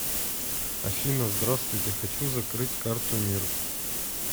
афина здравствуйте хочу закрыть карту мир